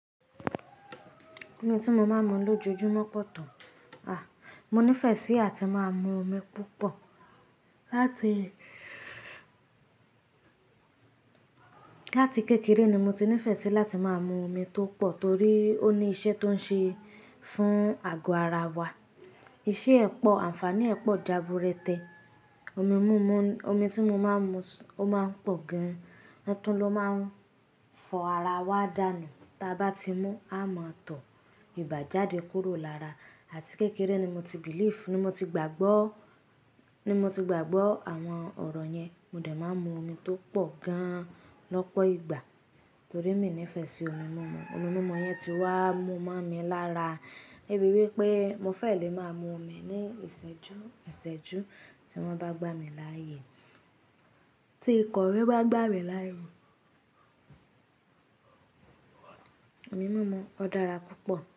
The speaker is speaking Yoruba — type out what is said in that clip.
Omi tí mo máa ń mu lójoojúmọ́ pọ̀ tán. À, mo nífẹ̀ẹ́ sí àti máa mu omi púpọ̀. Láti láti kékeré ni mo ti nífẹ̀ẹ́ sí láti máa mu omi tó pọ̀ torí ó ní iṣẹ́ tó ń ṣe fún àgọ́ ara wa. Iṣẹ́ ẹ po, àǹfààní ẹ po jàbúrẹ́ tẹ. Omi múmu, omi tí mo máa ń mu ó máa ń pọ̀ gan-an, atún lo máa ń fọ ara wa dànù. Tí a bá ti mu a máa tọ̀ ìbà jáde kúrò lára àti kékeré ni mo ti believe, ni mo ti gbàgbọ́, ni mo ti gbàgbọ́ àwọn ọ̀rọ̀ yẹn. Mo dẹ̀ máa ń mu omi tó pọ̀ gan-an lọ́pọ̀ ìgbà torí emi nífẹ̀ẹ́ sí omi múmu. Omi múmu yẹn ti wá mú máa mi lára débi wípé mo fẹ́ lè máa mu omi ní ìṣẹ́jú, ìṣẹ́jú tí wọ́n bá gbá mi láyè. Tí iko mi bá gbà mí lá ye. Omi múmu ó dára púpọ̀